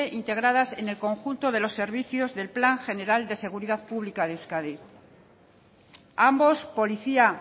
integradas en el conjunto de los servicios del plan general de seguridad de euskadi ambos policía